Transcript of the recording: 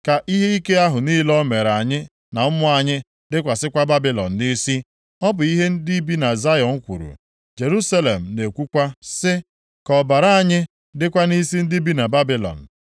Ka ihe ike ahụ niile o mere anyị na ụmụ anyị dịkwasịkwa Babilọn nʼisi.” Ọ bụ ihe ndị bi na Zayọn kwuru. Jerusalem na-ekwukwa sị, “Ka ọbara anyị dịkwa nʼisi ndị bi na Babilọn.”